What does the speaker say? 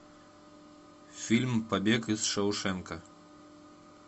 фильм побег из шоушенка